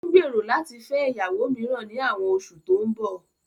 Ó ń gbèrò láti fẹ́ ìyàwó mìíràn ní àwọn oṣù tó ń bọ̀